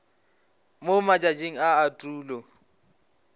mo matšatšing a a tulo